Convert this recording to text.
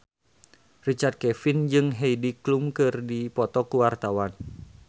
Richard Kevin jeung Heidi Klum keur dipoto ku wartawan